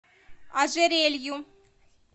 ожерелью